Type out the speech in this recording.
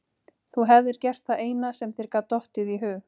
Þú hefðir gert það eina sem þér gat dottið í hug.